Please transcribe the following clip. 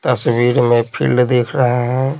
तस्वीर में फील्ड देख रहे हैं।